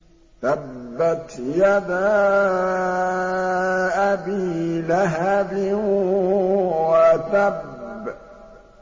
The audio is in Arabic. تَبَّتْ يَدَا أَبِي لَهَبٍ وَتَبَّ